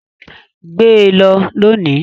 Gbe lọ lónìí!